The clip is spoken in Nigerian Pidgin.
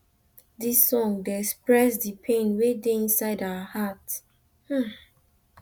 dis song dey express di pain wey dey inside our heart